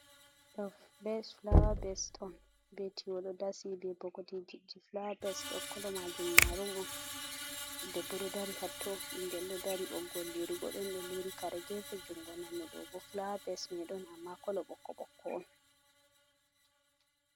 dobe flawa beston, be tiwo do dasi be bokotiji, flawa bas dokkolo majum marun on, debbo do dari hatto, bingel dari, boggol lirugo don, do liri kare gefe jungo nano dobo flawa bes madon amma kolo bokko bokko on.